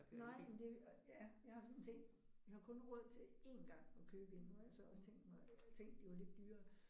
Nej men det ja jeg har sådan tænkt vi har kun råd til én gang at købe en nu har jeg så også tænk mig tænkt det var lidt dyrere